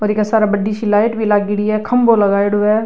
और इक सार बड़ी सी लाइट भी लागेड़ी है खम्भों लगायेडॉ है।